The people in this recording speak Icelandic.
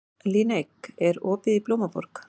Líneik, er opið í Blómaborg?